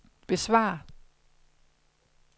besvar